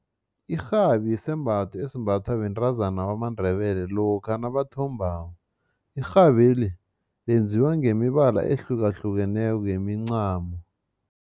Irhabi yisembatho esimbathwa bentazana bamaNdebele lokha nabathombako. Irhabeli lenziwa ngemibala ehlukahlukeneko yemincamo.